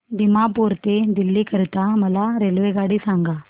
दिमापूर ते दिल्ली करीता मला रेल्वेगाडी सांगा